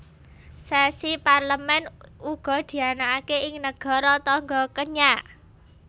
Sesi Parlemen uga dianakaké ing nagara tangga Kenya